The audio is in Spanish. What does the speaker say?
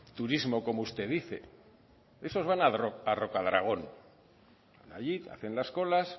turismo como usted dice esos van a rocadragón allí hacen las colas